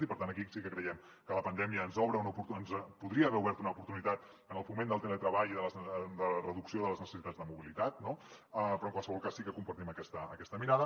i per tant aquí sí que creiem que la pandèmia ens podria haver obert una oportunitat amb el foment del teletreball i la reducció de les necessitats de mobilitat no però en qualsevol cas sí que compartim aquesta mirada